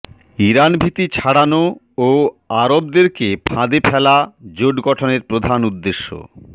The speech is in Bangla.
ইরানভীতি ছড়ানো ও আরবদেরকে ফাঁদে ফেলা জোট গঠনের প্রধান উদ্দেশ্য